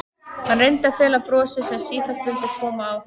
Hann reyndi að fela brosið sem sífellt vildi koma á hann.